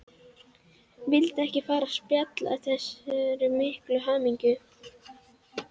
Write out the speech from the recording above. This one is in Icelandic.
Vildi ekki fara að spilla þessari miklu hamingju.